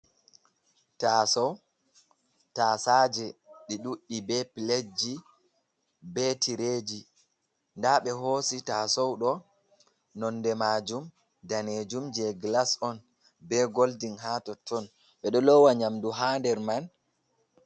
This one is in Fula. tasaje ɗi ɗuɗdi be plateji be tireji, nda ɓe hosi tasaudo nonde majum danejum je glas on be golding, ha totton bedo lowa nyamdu ha der man.